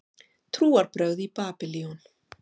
Trúarbrögð í Babýlon